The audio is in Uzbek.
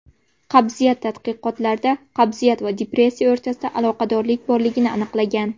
Qabziyat Tadqiqotlarda qabziyat va depressiya o‘rtasida aloqadorlik borligi aniqlangan.